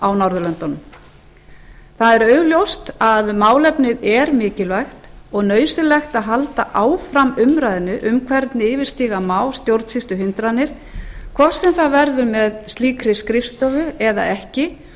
á norðurlöndunum augljóst er að málefnið er mikilvægt og nauðsynlegt að halda áfram umræðunni um hvernig yfirstíga má stjórnsýsluhindranir hvort sem það verður með slíkri skrifstofu eða ekki